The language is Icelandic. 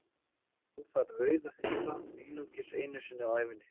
Svo glotti hann að orðavali sínu og sá brosleiftri bregða fyrir á andliti sonar síns.